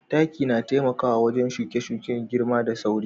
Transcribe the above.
Taki na taimaka wa shuke-shuke girma da sauri